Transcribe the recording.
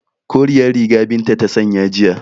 Koriyar riga Binta ta sanya jiya